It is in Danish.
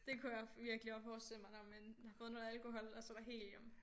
Det kunne jeg virkelig også forestille mig når man har fået noget alkohol og så er der helium